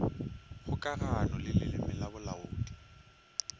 kgokagano le leleme la bolaodi